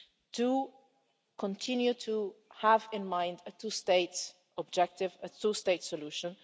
to continue to have in mind a two-state objective and a two-state solution.